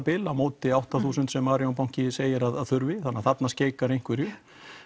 bil á móti átta þúsund sem arionbanki segir að þurfi þannig þarna skeikar einhverju